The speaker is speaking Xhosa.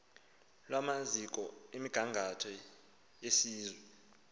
lwamaziko emigangatho yesizwe